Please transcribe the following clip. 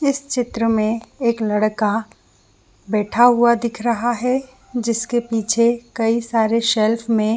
इस चित्र में एक लड़का बैठा हुआ दिख रहा है जिसके पीछे कई सारे सेल्फ में--